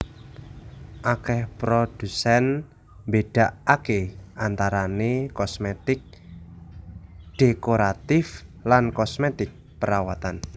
Akèh prodhusèn mbédakaké antarané kosmètik dhékoratif lan kosmètik perawatan